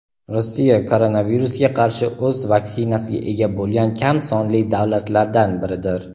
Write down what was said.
Rossiya koronavirusga qarshi o‘z vaksinasiga ega bo‘lgan kam sonli davlatlardan biridir.